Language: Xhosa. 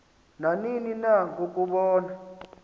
nanini na ngokubona